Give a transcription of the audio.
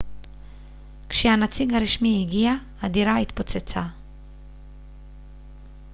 כשהנציג הרשמי הגיע הדירה התפוצצה